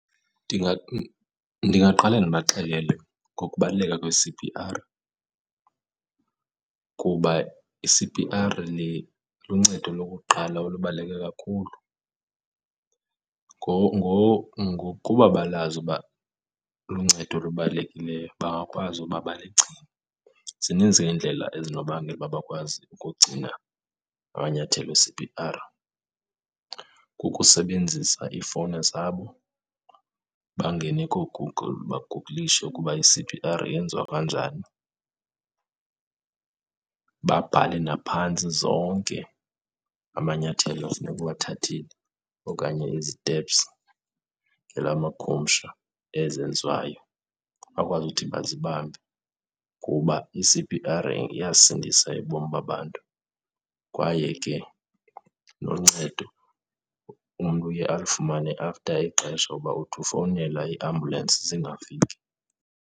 Ndingaqale ndibaxelele ngokubaluleka kwe-C_P_R, kuba i-C_P_R le luncedo lokuqala olubaluleke kakhulu. Ngokuba balazi uba luncedo olubalulekileyo bangakwazi uba baligcine. Zininzi ke iindlela ezinobangela uba bakwazi ukugcina amanyathelo e-C_P_R. Kukusebenzisa iifowuni zabo bangene kooGoogle, baguqulishe ukuba i-C_P_R yenziwa kanjani, babhale naphantsi zonke amanyathelo ekufuneka uwathathile okanye izitepsi ngelamakhumsha ezenziwayo, bakwazi uthi bazibambe. Kuba i-C_P_R iyasindisa ubomi babantu kwaye ke noncedo umntu uye alufumane after ixesha kuba uthi ufowunela iiambulensi zingafiki.